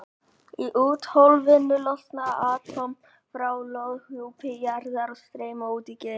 Í úthvolfinu losna atóm frá lofthjúpi jarðar og streyma út í geiminn.